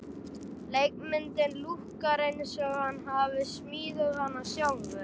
Leikmyndin lúkkar eins og hann hafi smíðað hana sjálfur.